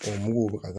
muguw bɛ ka